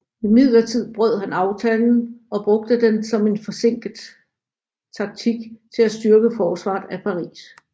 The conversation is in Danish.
Imidlertid brød han aftalen og brugte den som en forsinkende taktik til at styrke forsvaret af Paris